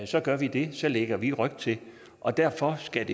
så gør vi det så lægger vi ryg til og derfor skal